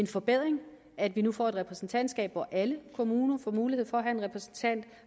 forbedring at vi nu får et repræsentantskab hvor alle kommuner får mulighed for at have en repræsentant